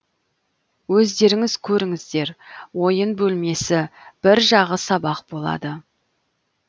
өздеріңіз көріңіздер ойын бөлмесі бір жағы сабақ болады